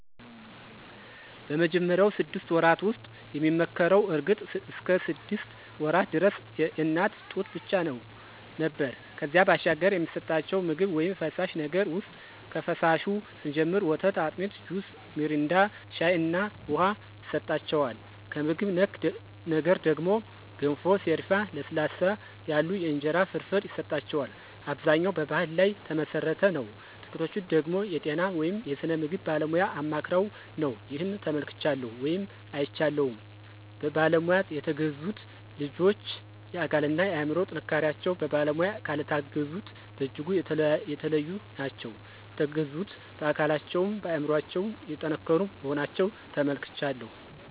በመጀመሪያው ስድስት ወራት ውስጥ የሚመከረው እርግጥ እስከ ሰድስት ወራት ደረስ የእናት ጡት ብቻ ነው ነበር ከዚያ ባሻገር የሚሰጠቸው ምግብ ውይም ፈሳሽ ነገር ውሰጥ ከፈሳሹ ስንጀምር ወተት፣ አጢሚት፣ ጁስ ሚሪንዳ፣ ሻይ እና ውሃ ይሰጠዋል። ከምግብ ነክ ነገር ደግሞ ገንፎ፣ ሰሪፍ፣ ለስለስ ያሉ የእንጀራ ፍርፍር ይሰጠዋል። አብዛኛው በባሕል ላይ ተመሠረተ ነው ጥቂቶቹ ደገሞ የጤና ወይም የስነ ምግብ ባለሙያ አማክረው ነው። ይህን ተመልክቻለሁ ወይም አይቻለሁም። በባለሙያ የተገዙት ልጆች የአካል እና የአምሮ ጥንካሪቸው በባለሙያ ካልታገዙት በጅጉ የተለዩ ናቸው። የተገዙት በአካለቸውም በአምሮቸው የጠንከሩ መሆናቸውን ተመልክቻለሁ።